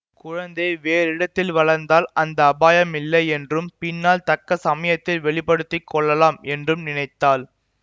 குழந்தை வேறிடத்தில் வளர்ந்தால் அந்த அபாயம் இல்லை என்றும் பின்னால் தக்க சமயத்தில் வெளி படுத்தி கொள்ளலாம் என்றும் நினைத்தாள்